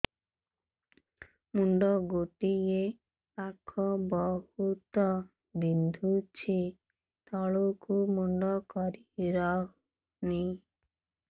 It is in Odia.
ମୁଣ୍ଡ ଗୋଟିଏ ପାଖ ବହୁତୁ ବିନ୍ଧୁଛି ତଳକୁ ମୁଣ୍ଡ କରି ହଉନି